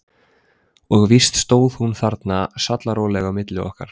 Og víst stóð hún þarna sallaróleg á milli okkar.